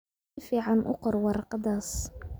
Si fiican u qor warqadaas.